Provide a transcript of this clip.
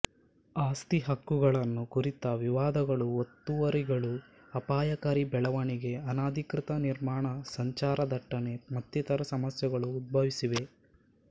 ಆಸ್ತಿ ಹಕ್ಕುಗಳನ್ನು ಕುರಿತ ವಿವಾದಗಳುಒತ್ತುವರಿಗಳುಅಪಾಯಕಾರಿ ಬೆಳವಣಿಗೆ ಅನಧಿಕೃತ ನಿರ್ಮಾಣ ಸಂಚಾರ ದಟ್ಟಣೆ ಮತ್ತಿತರ ಸಮಸ್ಯೆಗಳು ಉದ್ಭವಿಸಿವೆ